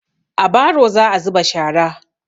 A baro za'a zuba shara.